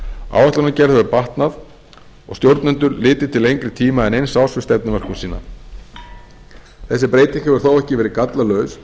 áætlanagerð hefur batnað og stjórnendur litið til lengri tíma en eins árs við stefnumörkun sína þessi breyting hefur þó ekki verið gallalaus